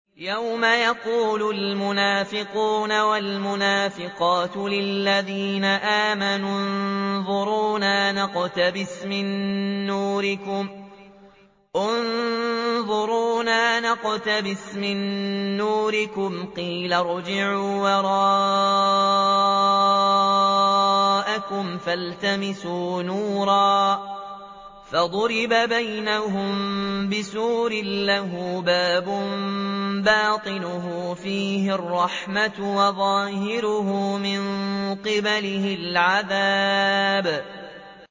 يَوْمَ يَقُولُ الْمُنَافِقُونَ وَالْمُنَافِقَاتُ لِلَّذِينَ آمَنُوا انظُرُونَا نَقْتَبِسْ مِن نُّورِكُمْ قِيلَ ارْجِعُوا وَرَاءَكُمْ فَالْتَمِسُوا نُورًا فَضُرِبَ بَيْنَهُم بِسُورٍ لَّهُ بَابٌ بَاطِنُهُ فِيهِ الرَّحْمَةُ وَظَاهِرُهُ مِن قِبَلِهِ الْعَذَابُ